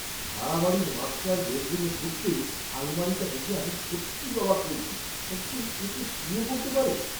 ভাড়া বাড়ির মাস্টার বেডরুমে ঢুকতেই আলমারিটা দেখে আমি সত্যিই অবাক হয়েছি, একজন এতে শুয়ে পড়তে পারে!